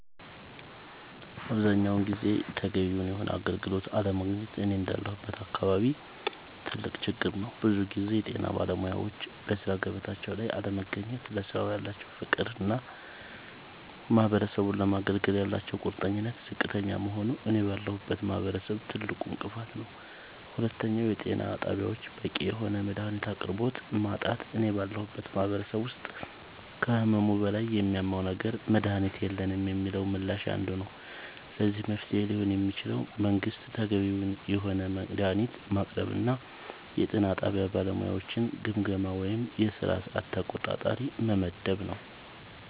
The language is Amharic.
አብዛኛውን ጊዜ ተገቢውን የሆነ አገልግሎት አለማግኘት እኔ እንዳለሁበት አካባቢ ትልቅ ችግር ነዉ ብዙ ጊዜ የጤና ባለሙያወች በሥራ ገበታቸው ላይ አለመገኘት ለስራው ያላቸው ፍቅርና ማህበረሰቡን ለማገልገል ያላቸው ቁርጠኝነት ዝቅተኛ መሆኑ እኔ ባለሁበት ማህበረሰብ ትልቁ እንቅፋት ነዉ ሁለተኛው የጤና ጣቢያወች በቂ የሆነ የመድሃኒት አቅርቦት ማጣት እኔ ባለሁበት ማህበረሰብ ውስጥ ከህመሙ በላይ የሚያመው ነገር መድሃኒት የለንም የሚለው ምላሽ አንዱ ነዉ ለዚህ መፍትሄ ሊሆን የሚችለው መንግስት ተገቢውን የሆነ መድሃኒት ማቅረብና የጤና ጣቢያ ባለሙያወችን ግምገማ ወይም የስራ ሰዓት ተቆጣጣሪ መመደብ